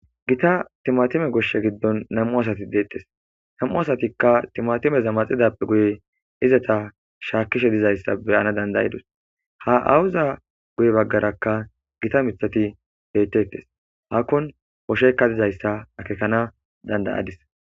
Gita timatime gosha gidon nam'u asati deetes nam'u asatika timatimeza maxidafe guye izeta shakishe dizaysa beyana danda'idos ha aawoza guye bagaraka Gita mithati betetes hakon oshayka dizaysa akekana danda'adis.